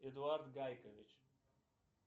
эдуард гайкович